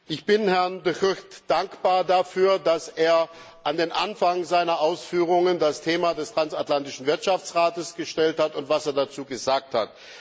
Ich bin Herrn De Gucht dankbar dafür, dass er an den Anfang seiner Ausführungen das Thema des Transatlantischen Wirtschaftsrates gestellt hat, und dafür, was er dazu gesagt hat.